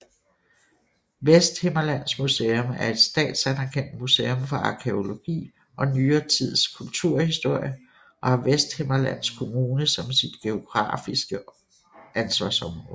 Vesthimmerlands Museum er et statsanerkendt museum for arkæologi og nyere tids kulturhistorie og har Vesthimmerlands Kommune som sit geografiske ansvarsområde